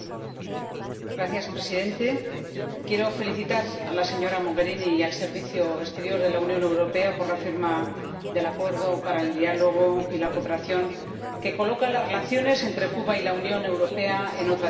Señor Presidente, quiero felicitar a la señora Mogherini y al Servicio Europeo de Acción Exterior por la firma del Acuerdo de diálogo político y cooperación, que coloca las relaciones entre Cuba y la Unión Europea en otra dimensión.